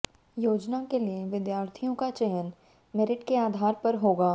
योजना के लिए विद्यार्थियों का चयन मेरिट के आधार पर होगा